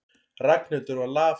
Ragnhildur var lafhrædd.